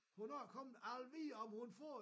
Hvornår kommer jeg vil vide om hun får